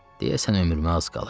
Deyəsən ömrümə az qalıb.